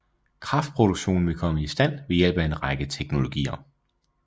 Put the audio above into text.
Kraftproduktionen vil komme i stand ved hjælp af en række teknologier